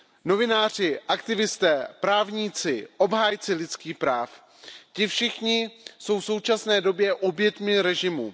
Novináři, aktivisté, právníci, obhájci lidských práv, ti všichni jsou v současné době oběťmi režimu.